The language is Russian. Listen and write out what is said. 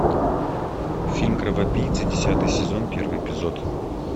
фильм кровопийцы десятый сезон первый эпизод